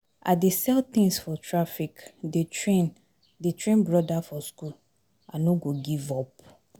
I dey sell tins for traffic dey train dey train broda for skool, I no go give up.